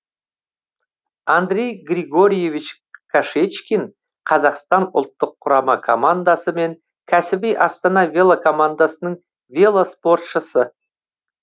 андрей григорьевич кашечкин қазақстан ұлттық құрама командасы мен кәсіби астана велокомандасының велоспортшысы